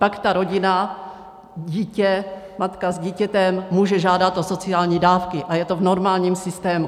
Pak ta rodina, dítě, matka s dítětem může žádat o sociální dávky a je to v normálním systému.